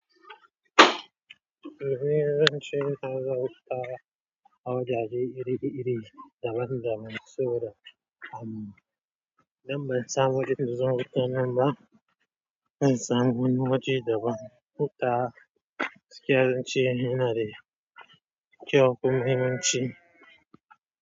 Sabida in ban samu zuwa wajennan ba zan samu wani waje daban gaskiya nace yanada kyau da muhimmanci.